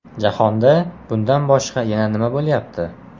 Jahonda bundan boshqa yana nima bo‘lyapti?